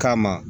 Kama